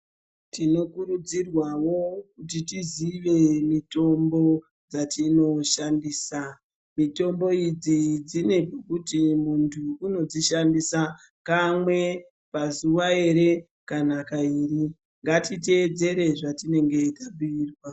Tinokurudzirwa wo kuti tizive mitombo dzatino shandisa mitombo idzi dzinekuti muntu ano dzishandisa kanwe pazuva here kana kairi ngatitevedzere zvatinenge tabhuirwa.